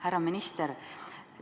Härra minister!